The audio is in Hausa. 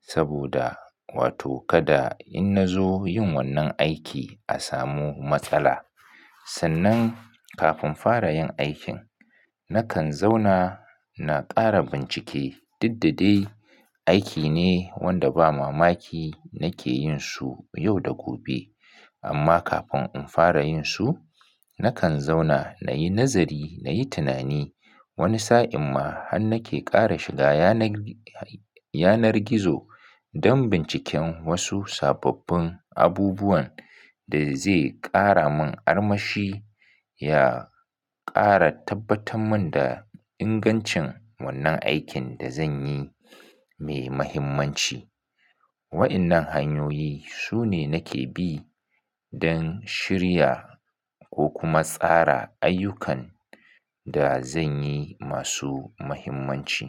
Saboda wato kada inna zo yin wannan aiki a samu matsala. Sannan kafin fara yin aikin, nakan zauna na kara bincike. Diddade aiki ne wanda ba mamaki nake yinsu yau da gobe. Amma kafin in fara yin su, nakan zauna na yi nazari, na yi tunani. Wani sa'in ma han nake kara shiga yanar, yanar gizo don binciken wasu sababbin abubuwan da zai kara mun armashi, ya kara tabbatar mun da ingancin wannan aikin da zanyi mai mahimmanci. Waɗannan hanyoyi sune nake bi don shirya ko kuma tsara ayyukan da zanyi masu muhimmanci.